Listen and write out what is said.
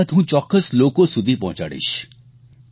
તમારી વાત હું ચોક્કસ લોકો સુધી પહોંચાડીશ